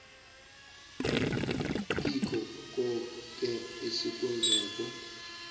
kikho koke esikwenzako